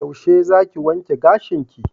Yaushe zaki wanke gashinki?